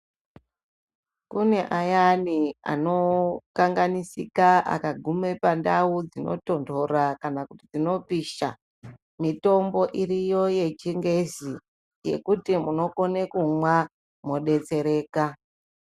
Kune ayani ano kanganisika aka gume pandau dzino tondora kana kuti dzino pisha mitombo iriyo ye chingezi yekuti munokone kumwa mo detsereka.